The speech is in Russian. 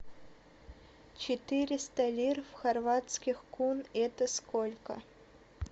четыреста лир в хорватских кун это сколько